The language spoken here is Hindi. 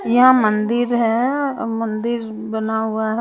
यहां मंदिर है और मंदिर बना हुआ है।